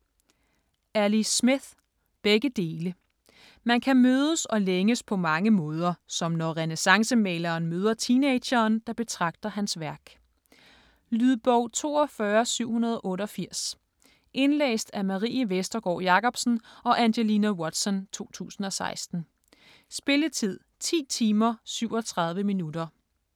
Smith, Ali: Begge dele Man kan mødes og længes på mange måder, som når renæssancemaleren møder teenageren, der betragter hans værk. Lydbog 42788 Indlæst af Marie Vestergård Jakobsen og Angelina Watson, 2016. Spilletid: 10 timer, 37 minutter.